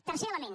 tercer element